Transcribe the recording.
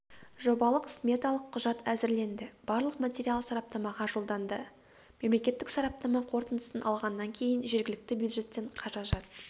жобалық-сметалық құжат әзірленді барлық материал сараптамаға жолданды мемлекеттік сараптама қорытындысын алғаннан кейін жергілікті бюджеттен қаражат